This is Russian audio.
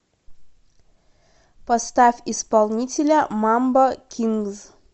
поставь исполнителя мамбо кингз